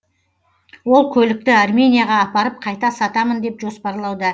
ол көлікті арменияға апарып қайта сатамын деп жоспарлауда